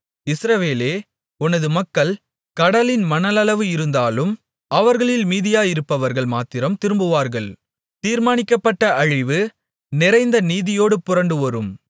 இஸ்ரவேலே உனது மக்கள் கடலின் மணலளவு இருந்தாலும் அவர்களில் மீதியாயிருப்பவர்கள் மாத்திரம் திரும்புவார்கள் தீர்மானிக்கப்பட்ட அழிவு நிறைந்த நீதியோடே புரண்டு வரும்